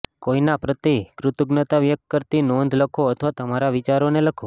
કોઈના પ્રતિ કૃતજ્ઞતા વ્યક્ત કરતી નોંધ લખો અથવા તમારા વિચારોને લખો